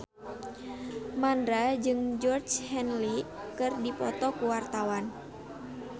Mandra jeung Georgie Henley keur dipoto ku wartawan